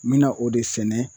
N bɛna o de sɛnɛ